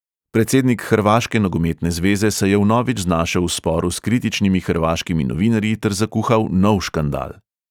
Predsednik hrvaške nogometne zveze se je vnovič znašel v sporu s kritičnimi hrvaškimi novinarji ter zakuhal nov škandal.